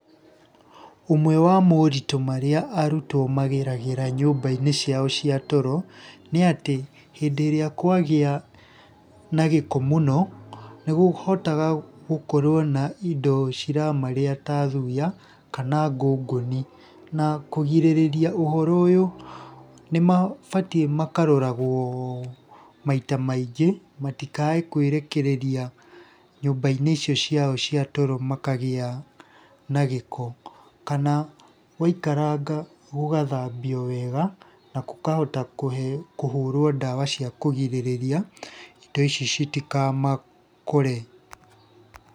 Ũmwe wa moritũ marĩa arutwo mageragĩra nyũmba-inĩ ciao cia toro, nĩ atĩ hĩndĩ ĩrĩa kwagĩa na gĩko mũno nĩ kuhotaga gukorwo na indo ciramarĩa ta thuya kana ngũngũni, na kũgirĩrĩria ũhoro ũyũ nĩ mabatie makaroragwo maita maingĩ matikae kwĩrekereria nyũmba-inĩ icio ciao cia toro makagĩa na gĩko. Kana gũaikaranga gũgathambio wega na gũkahota kũhũrwo ndawa cia kũgirĩrĩria indo ici citikamakore.